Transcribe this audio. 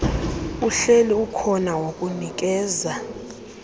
uhleli ukhona wokunikeza